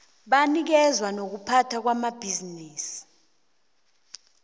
banikazi nokuphatha amabhisimisi